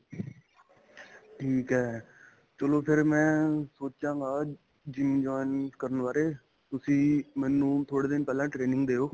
ਠੀਕ ਏ ਚਲੋਂ ਫ਼ੇਰ ਮੈਂ ਸੋਚਾਂਗਾ GYM join ਕਰਨ ਬਾਰੇ ਤੁਸੀਂ ਮੈਨੂੰ ਥੋੜੇ ਦਿਨ ਪਹਿਲਾਂ training ਦਿਉ